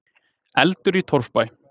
Eldur í torfbæ